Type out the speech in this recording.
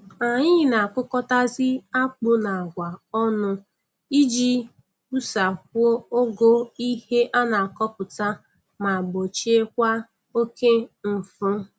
Anyị na-akụkọtazi akpụ na agwa ọnụ iji wusakwuo ogo ihe a na-akọpụta ma gbochiekwa oke nfu.